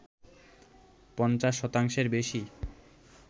পঞ্চাশ শতাংশের বেশি